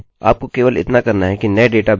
यह करने के लिए आपके पास यहाँ एक सामान्य बॉक्स है